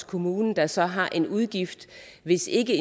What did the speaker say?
kommunen der så har en udgift hvis ikke